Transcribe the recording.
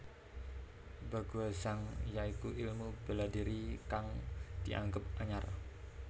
Baguazhang ya iku ilmu bela diri kang dianggep anyar